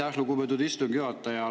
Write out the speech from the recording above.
Aitäh, lugupeetud istungi juhataja!